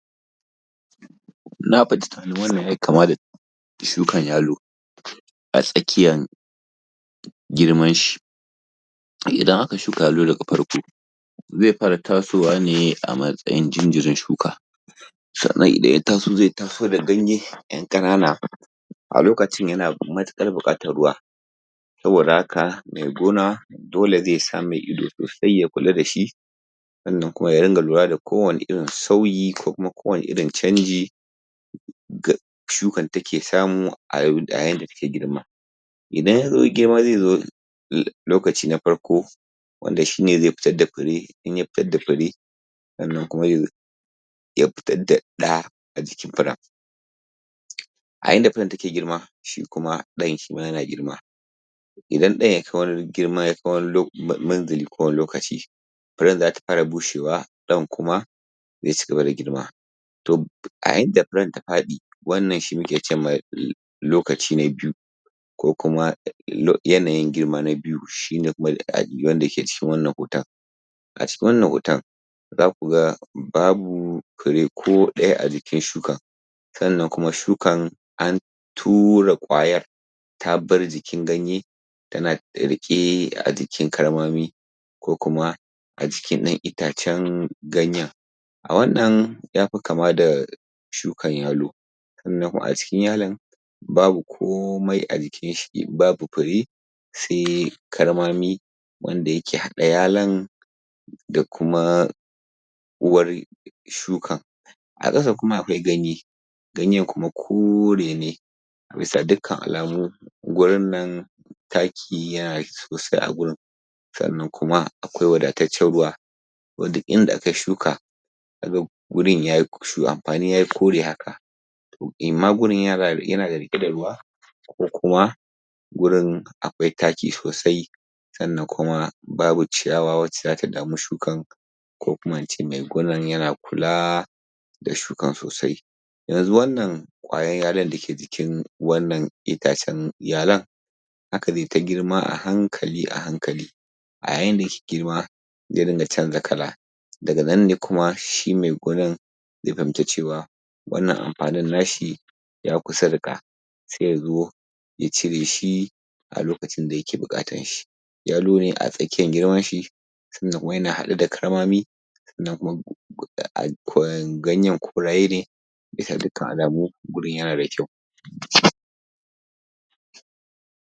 Na wannan yayi kama da shukan yalo a tsakiyan girman shi idan aka shuka yalo daga farko zai fara tasowane a matsayin jinjirin shuka sanan idan zai taso, zai taso da ganye yan ƙanana a lokacin ya na mutukar buƙatan ruwa saboda haka mai gona dole zai sa mai ido ya kula dashi sosai sannan kuma ya ringa kula da kowani sauyi ko kuma ko wani irin canji da shukan take samu a yanda take girma idan ya girma zai zo lokaci na farko wanda shine zai fitar da fure, inya fida fure sanan kuma ya fitar da ɗa a jikin furen a yanda furen ta ke girma, shi kuma dayan shima yana girma idan dayan ya kai wani girma wani lokaci furen zata far bushewa nan kuma zai cigaba da girma to a inda furen ta faɗi wanan shi muke cewa ma lokaci na biyu kokuma yanayi girma na biyu shine kuma wanda yake cikin wannan hoton a cikin wannan hoton zaku ga babu fure ko daya a jikin shukan sannan kuma shukan an tura ƙwayan ta bar jikin gaye tana da rike a jikin karmami kokuma a jikin ɗan itacen ganyen a wannan, yafi kama da shukan yalo sannan kuma cikin yalon babu komai a jikin shi, babu fure sai karmami wanda yake haɗa yalon da kuma uwar shukan a kasa kuma akwai ganye ganyen kuma kore ne a bisa dukkan alamu gurun nan taki yana sosai a wurin sannan kuma akwai wadataccan ruwa wanda inda akayi shuka wurin yayi so amfani yayi kore haka toh yana rike da ruwa kokuma wurin akwai taki sosai sannan kuma babu ciyawa wacca zata damu shukan kokuma ince mai gonnan yana kula da shukan sosai yanzu wannan ƙwayan yalo dake jikin wannan itacen yalon haka zaiyita girma a hankali a hankali a yanda yake girma zai dinga canja kala daganan ne kuma shi mai gonan zai fahimci cewa wannan amfanin nashi ya kusa riƙa sai yazo ya cire shi a lokacin da yake bukatan shi yalo ne a tsakiyan girman shi tunda yana haɗu da karmami gayen korayene bisa dukan alamu, wurin yana da kyau.